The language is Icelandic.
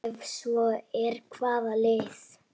Ef svo er, hvaða lið?